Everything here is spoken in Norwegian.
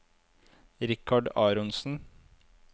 Richard Aronsen